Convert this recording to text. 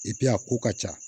a ko ka ca